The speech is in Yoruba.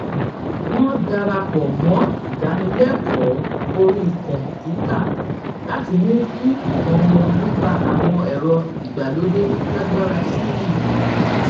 wọn dara pọ mọ ìdánilẹkọọ orí kòǹpútà láti mú kí ìmọ wọn nípa àwọn ẹrọ ìgbàlódé lágbára sí i